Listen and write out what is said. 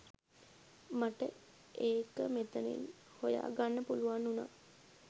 මට ඒකමෙතනින්හොය ගන්න පුලුවන් උනා.